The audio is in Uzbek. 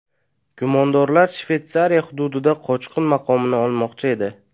Gumondorlar Shveysariya hududida qochqin maqomini olmoqchi edi.